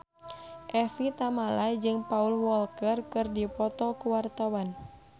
Evie Tamala jeung Paul Walker keur dipoto ku wartawan